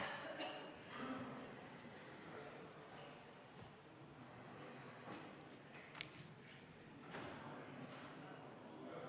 Kohaloleku kontroll Aitäh!